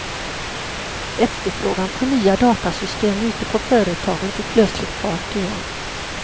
Efterfrågan på nya datasystem ute på företagen tog plötsligt fart igen.